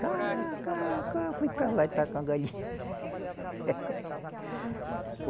Cá, cá, cá, fui para lá e com a galinha.